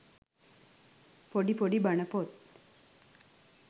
පොඩි පොඩි බණපොත්